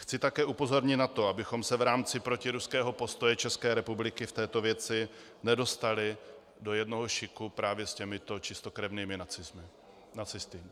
Chci také upozornit na to, abychom se v rámci protiruského postoje České republiky v této věci nedostali do jednoho šiku právě s těmito čistokrevnými nacisty.